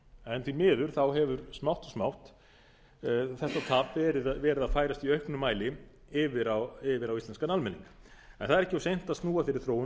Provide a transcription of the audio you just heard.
en því miður hefur smátt og smátt þetta tap verið að færast í auknum mæli yfir á íslenskan almenning en það er ekki of seint að snúa þeirri þróun